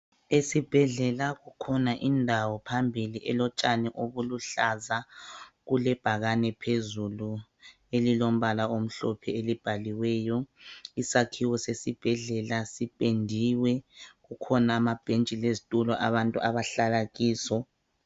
Esibhedlela kukhona indawo phambili okulotshani obuluhlaza kulebhakane phezulu elilombala omhlophe elibhaliweyo. Isakhiwo sesibhedlela sipendiwe kukhona amabhentshi lezitulo abantu abahlala kizo.